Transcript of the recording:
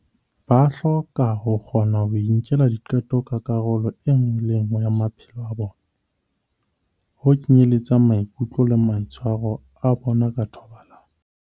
Ba hloka ho kgona ho inkela diqeto ka karolo e nngwe le e nngwe ya maphelo a bona, ho kenyeletsa maikutlo le maitshwaro a bona ka thobalano.